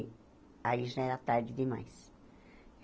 Aí já era tarde demais.